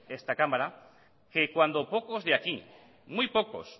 esta cámara que cuando poco de aquí muy pocos